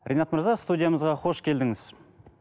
ринат мырза студиямызға қош келдіңіз